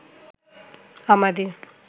আমাদের